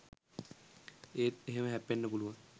ඒත් එහෙම හැප්පෙන්න පුළුවන්